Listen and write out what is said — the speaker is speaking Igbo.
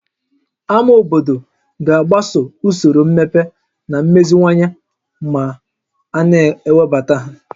Ámá obodo ga-agbaso usoro mmepe na mmeziwanye ma a na-ewebata ha